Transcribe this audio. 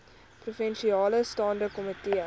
provinsiale staande komitee